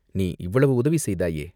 நீ இவ்வளவு உதவி செய்தாயே?